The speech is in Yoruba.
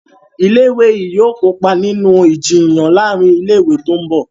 ilé ìwé yí yóò kópa nínú Ìjiyàn láàrin ilé ìwé tó ńbo.